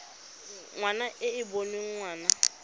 ngwana e e boneng ngwana